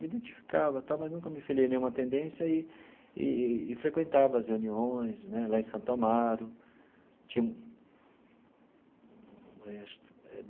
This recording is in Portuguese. Me identificava e tal, mas nunca me filiei a nenhuma tendência e e e frequentava as reuniões né lá em Santo Amaro tinha um eh.